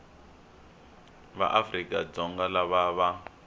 va afrika dzonga lava va